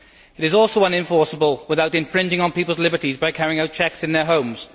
It is also unenforceable without infringing people's liberties by carrying out checks in their homes.